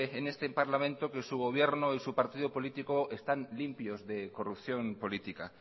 en este parlamento que su gobierno y su partido político están limpios de corrupción política